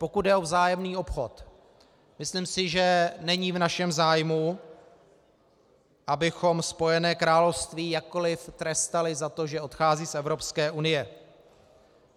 Pokud jde o vzájemný obchod, myslím si, že není v našem zájmu, abychom Spojené království jakkoli trestali za to, že odchází z Evropské unie.